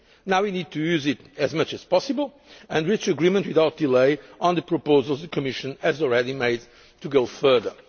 evasion. Now we need to use it as much as possible and reach agreement without delay on the proposals the Commission has already made to go